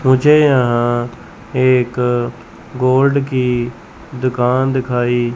मुझे यहां पर एक गोल्ड की दुकान दिखाई--